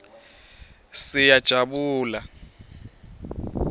siyajabula